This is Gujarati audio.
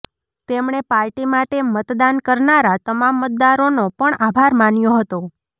તેમણે પાર્ટી માટે મતદાન કરનારા તમામ મતદારોનો પણ આભાર માન્યો હતો